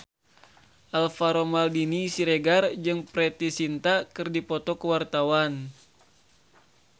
Alvaro Maldini Siregar jeung Preity Zinta keur dipoto ku wartawan